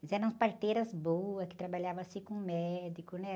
Mas eram parteiras boas, que trabalhavam assim com médico, né?